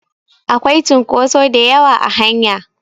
Akwai cunkotso da yawa a hanya